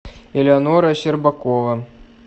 элеонора щербакова